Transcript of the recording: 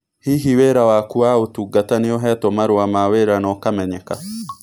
Hihi wĩra waku wa ũtungata nĩ ũheetwo marũa ma wĩra na ũkamenyeka?